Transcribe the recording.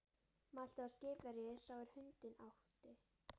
Mælti þá skipverji sá er hundinn átti